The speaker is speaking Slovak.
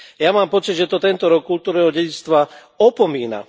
Ja mám pocit, že to tento rok kultúrneho dedičstva opomína.